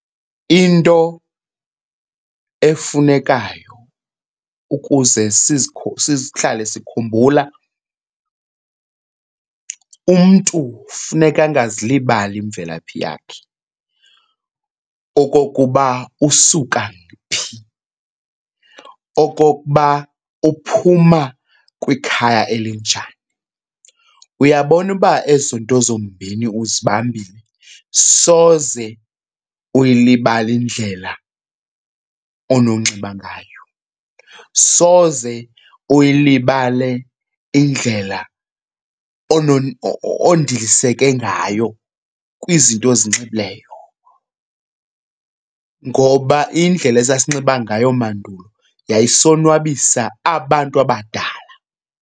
Into efunekayo ukuze sihlale sikhumbula, umntu funeka angazilibali imvelaphi yakhe okokuba usuka phi, okokuba uphuma kwikhaya elinjani. Uyabona uba ezo nto zombini uzibambile soze uyilibale indlela ononxiba ngayo, soze uyilibale indlela ondiliseke ngayo kwizinto ozinxibileyo ngoba indlela esasinxiba ngayo mandulo yayisonwabisa abantu abadala.